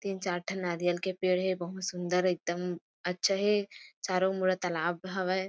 तीन चार ठन नारियल के पेड़ हे बहुत सुंदर एकदम अच्छा हे चारो-मुड़ा तालाब हवय।